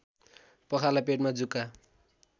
पखाला पेटमा जुका